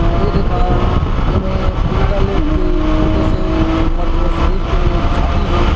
ये देखा एमे उलटा लेट के लेटे से हमर शरीर के जो छाती हे।